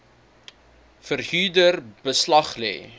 verhuurder beslag lê